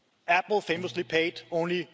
Apple famously paid only